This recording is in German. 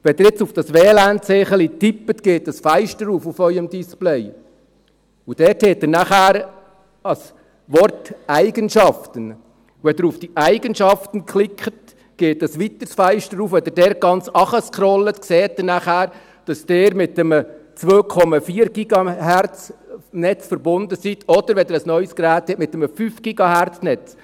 Wenn Sie jetzt auf Ihrem Display auf dieses WLAN-Zeichen tippen, haben Sie dort nachher das Wort «Eigenschaften», und wenn Sie auf die «Eigenschaften» klicken, geht ein weiteres Fenster auf, und wenn Sie dort ganz runterscrollen, dann sehen Sie, dass Sie mit einem 2,4-GHz-Netz verbunden sind oder, wenn Sie ein neues Gerät haben, mit einem 5-GHz-Netz.